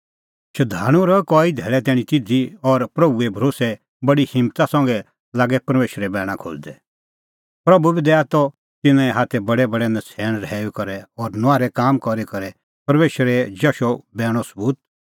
शधाणूं रहै कई धैल़ै तैणीं तिधी और प्रभूए भरोस्सै बडी हिम्मता संघै लागै परमेशरे बैणा खोज़दै प्रभू बी दैआ त तिन्नें हाथै बडैबडै नछ़ैण रहैऊई करै और नुआहरै काम करी करै परमेशरे जशे बैणो सबूत